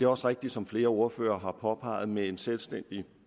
også rigtigt som flere ordførere har påpeget at med en selvstændig